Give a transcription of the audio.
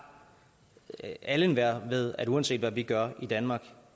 at alle og enhver ved at uanset hvad vi gør i danmark